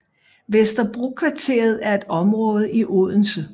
Vesterbrokvarteret er et område i Odense